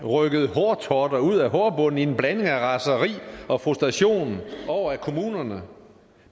rykket hårtotter ud af hårbunden i en blanding af raseri og frustration over at kommunerne